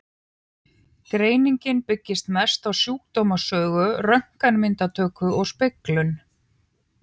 Greiningin byggist mest á sjúkdómssögu, röntgenmyndatöku og speglun.